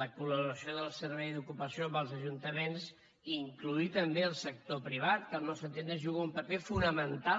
la col·laboració del servei d’ocupació amb els ajuntaments incloure també el sector privat que al nostre entendre juga un paper fonamental